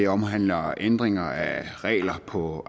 omhandler ændringer af regler på